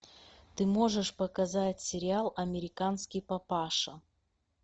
ты можешь показать сериал американский папаша